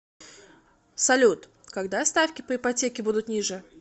салют когда ставки по ипотеке будут ниже